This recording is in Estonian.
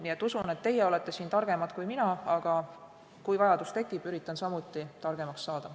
Nii et usun, et teie olete siin targemad kui mina, aga kui vajadus tekib, üritan samuti targemaks saada.